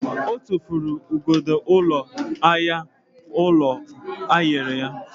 Ọ tụfuru igodo ụlọ ahịa unere enyere ya.